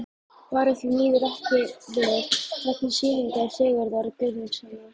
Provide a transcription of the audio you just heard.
Bera því miður ekki við, vegna sýningar Sigurðar Guðmundssonar.